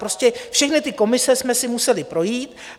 Prostě všechny ty komise jsme si museli projít.